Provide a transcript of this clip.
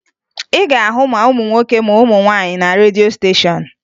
Ị ga-ahụ ma ụmụ nwoke ma ụmụ nwaanyị na redio steshọn